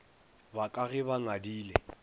ba ka ge ba ngadile